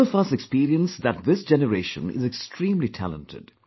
All of us experience that this generation is extremely talented